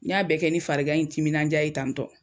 N y'a bɛɛ kɛ ni fari gan ni timinandiya ye tanitɔ.